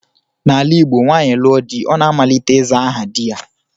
N'ala Igbo, nwaanyị lụọ di, ọ na-amalite ịza aha di ya